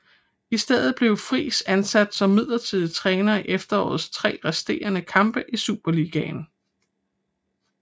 I stedet blev Friis ansat som midlertidig træner i efterårets tre resterende kampe i Superligaen